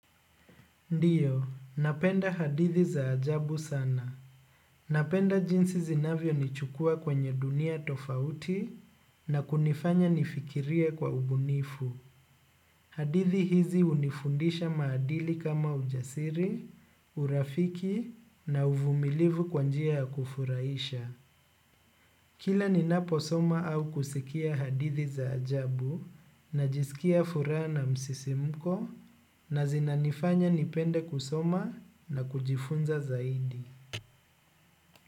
Ndiyo napenda hadithi za ajabu sana. Napenda jinsi zinavyonichukua kwenye dunia tofauti na kunifanya nifikirie kwa ubunifu. Hadithi hizi unifundisha maadili kama ujasiri, urafiki na uvumilivu kwa njia ya kufurahisha. Kila ninaposoma au kusikia hadithi za ajabu najisikia furaha na msisimko na zinanifanya nipende kusoma na kujifunza zaidi.